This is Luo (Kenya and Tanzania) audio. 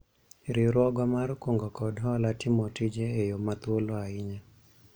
riwruogwa mar kungo kod hola timo tije e yo ma thuolo ahinya